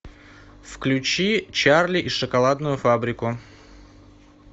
включи чарли и шоколадную фабрику